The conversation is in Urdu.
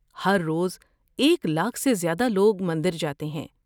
ہر روز ایک لاکھ سے زیادہ لوگ مندر جاتے ہیں۔